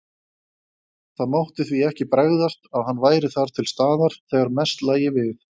Það mátti því ekki bregðast, að hann væri þar til staðar, þegar mest lægi við.